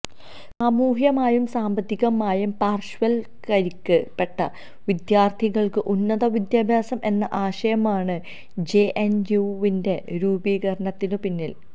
സാമൂഹ്യമായും സാമ്പത്തികമായും പാർശ്വവൽക്കരിക്കപ്പെട്ട വിദ്യാർഥികൾക്ക് ഉന്നത വിദ്യാഭ്യാസം എന്ന ആശയമാണ് ജെഎൻയുവിന്റെ രൂപീകരണത്തിനുപിന്നിൽ